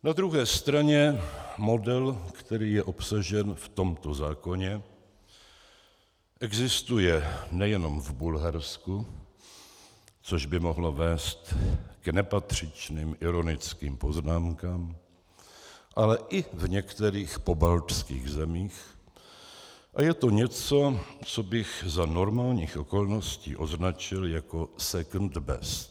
Na druhé straně model, který je obsažen v tomto zákoně, existuje nejenom v Bulharsku, což by mohlo vést k nepatřičným ironickým poznámkám, ale i v některých pobaltských zemích a je to něco, co bych za normálních okolností označil jako second best.